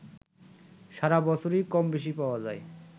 সারা বছরই কমবেশি পাওয়া যায়